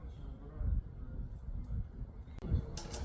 Bu mən bilmirəm necə düzəltmək, bu neçə dəfə gətiriblər.